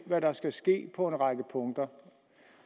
hvad der skal ske på en række punkter